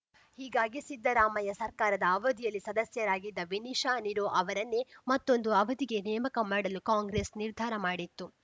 ಹೀಗಾಗಿ ಸಿದ್ದರಾಮಯ್ಯ ಸರ್ಕಾರದ ಅವಧಿಯಲ್ಲಿ ಸದಸ್ಯರಾಗಿದ್ದ ವಿನಿಶಾ ನೀರೋ ಅವರನ್ನೇ ಮತ್ತೊಂದು ಅವಧಿಗೆ ನೇಮಕ ಮಾಡಲು ಕಾಂಗ್ರೆಸ್‌ ನಿರ್ಧಾರ ಮಾಡಿತ್ತು